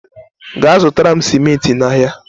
gaa zụtara m simenti n'ahịa!